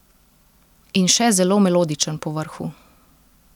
In še zelo melodičen povrhu.